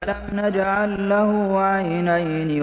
أَلَمْ نَجْعَل لَّهُ عَيْنَيْنِ